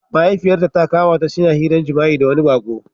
Mahaifiyarta ta kama ta suna hiran jima'i da wani baƙo.